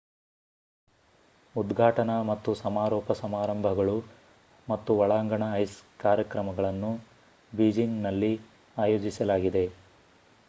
ಉದ್ಘಾಟನಾ ಮತ್ತು ಸಮಾರೋಪ ಸಮಾರಂಭಗಳು ಮತ್ತು ಒಳಾಂಗಣ ಐಸ್ ಕಾರ್ಯಕ್ರಮಗಳನ್ನು ಬೀಜಿಂಗ್‌ನಲ್ಲಿ ಆಯೋಜಿಸಲಾಗಿದೆ